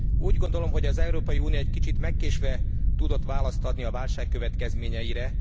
Úgy gondolom, hogy az Európai Unió egy kicsit megkésve tudott választ adni a válság következményeire.